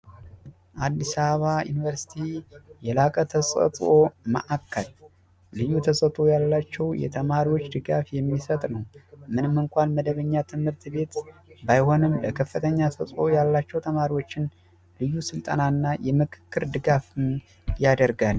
አዲስ አበባ ዩኒቨርስቲ የላቀ ተሰጥኦ ማእከል፦ ልዩ ተሰጥኦ ያላቸውን ተማሪዎችን ድጋፍ የሚሰጥ ነው፤ ምንም እንኳን መደበኛ ትምህርት ቤት ባይሆንም ከፍተኛ ተሰጥኦ ያላቸውን ተማሪዎችን ልዩ ስልጠና እና ድጋፍ ያደርጋል።